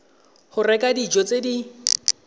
go reka dijo tse di